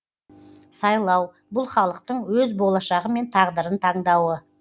сайлау бұл халықтың өз болашағы мен тағдырын таңдауы